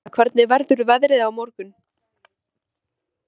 Guðfinna, hvernig verður veðrið á morgun?